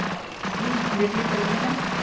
উম বিশ মিনিট পাতিবলে আছে।